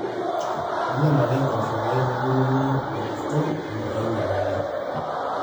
milam ake impoosho pee mepurrokino orkurto amu einyal oleng